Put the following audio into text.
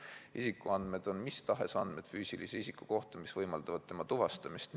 Isikuandmed on mis tahes andmed füüsilise isiku kohta, mis võimaldavad tema tuvastamist.